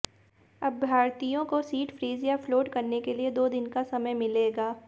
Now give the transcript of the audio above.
अभ्यर्थियों को seat freeze या फ्लोट करने के लिए दो दिन का समय मिलेगा